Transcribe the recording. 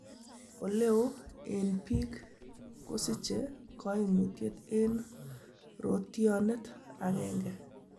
Oleoo en biik kosiche koimutiet en rotionet agenge.